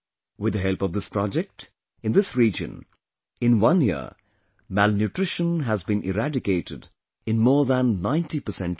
With the help of this project, in this region, in one year, malnutrition has been eradicated in more than 90 percent children